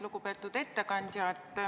Lugupeetud ettekandja!